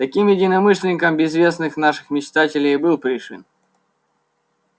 таким единомышленником безвестных наших мечтателей и был пришвин